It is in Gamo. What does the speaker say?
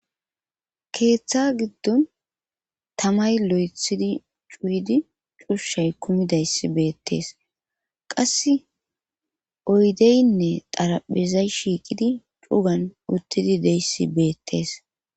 keeththa giddon tamay lo7ethidi cuuydi cushay kumidayssi beettees qasse oydeynne xaraphizay shiiqidi cugan uttidi deyssi beettees